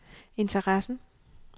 interessen